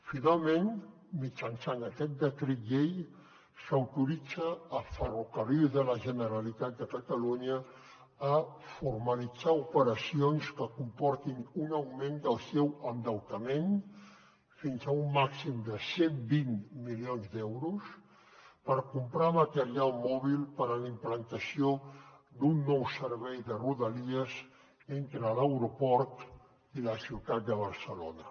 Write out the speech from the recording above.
finalment mitjançant aquest decret llei s’autoritza ferrocarrils de la generalitat de catalunya a formalitzar operacions que comportin un augment del seu endeutament fins a un màxim de cent i vint milions d’euros per comprar material mòbil per a la implantació d’un nou servei de rodalies entre l’aeroport i la ciutat de barcelona